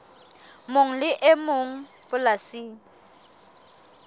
mong le e mong polasing